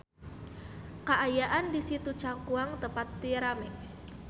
Kaayaan di Situ Cangkuang teu pati rame